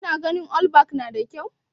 kina ganin allback nada kyau?